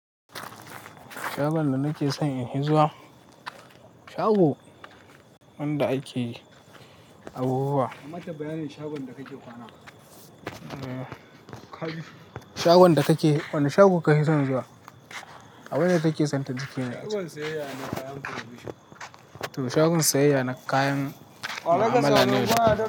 Shagon da nake son in hizuwa, shago wanda ake abubuwa. Amata bayanin shagon da kake kwana. Wane shago kake son in zuwa? Abin da take son ta ji ke nan. Shagon sayeyya na kayan provision. Toh shagon sayeyya na kayan mu'amala na yau da kullum.